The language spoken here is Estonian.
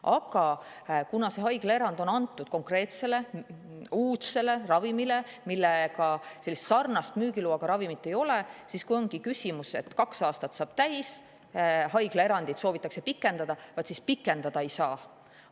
Aga kuna see haiglaerand on antud sellisele konkreetsele uudsele ravimile, millega sarnast müügiloaga ravimit ei ole, ja kui ongi nii, et kaks aastat saab täis, haiglaerandit soovitakse pikendada, vaat siis seda pikendada ei saa.